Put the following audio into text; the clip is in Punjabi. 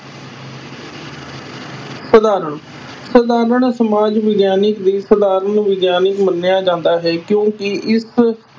ਸਧਾਰਨ, ਸਧਾਰਨ ਸਮਾਜ ਵਿਗਿਆਨਕ ਵੀ ਸਧਾਰਨ ਵਿਗਿਆਨਕ ਮੰਨਿਆ ਜਾਂਦਾ ਹੈ ਕਿਉਂਕਿ ਇਸ